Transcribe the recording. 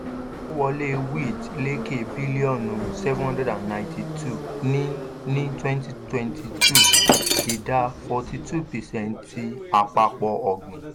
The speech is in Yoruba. ìkó wọlé wheat lékè bílíọ̀nu seven hundred and ninety two ní ní twenty twenty two ìdá forty two percent ti àpapọ̀ ọ̀gbìn.